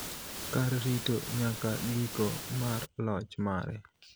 kar rito nyaka giko mar loch mare